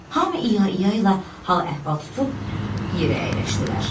Hamı İyayayla hal-əhval tutub yerə əyləşdilər.